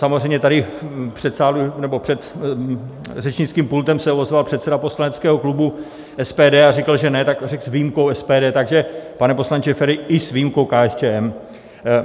Samozřejmě tady před řečnickým pultem se ozval předseda poslaneckého klubu SPD a říkal, že ne, tak řekl: S výjimkou SPD, takže pane poslanče Feri, i s výjimkou KSČM.